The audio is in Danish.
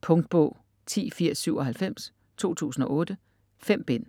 Punktbog 108097 2008. 5 bind.